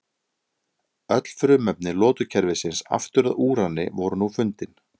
Öll frumefni lotukerfisins aftur að úrani voru nú fundin.